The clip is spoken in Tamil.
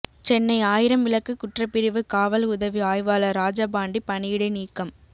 சென்னை ஆயிரம்விளக்கு குற்றப்பிரிவு காவல் உதவி ஆய்வாளர் ராஜபாண்டி பணியிடை நீக்கம்